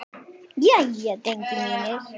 Í loftinu er ennþá ball.